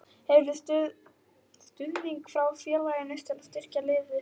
Hefurðu stuðning frá félaginu til að styrkja liðið frekar?